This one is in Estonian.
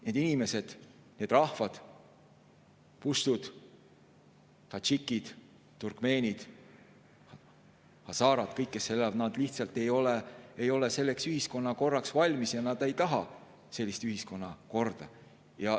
Need inimesed, need rahvad – puštud, tadžikid, turkmeenid, hazarad –, kõik, kes seal elavad, ei ole lihtsalt selleks ühiskonnakorraks valmis ja nad ei taha sellist ühiskonnakorda.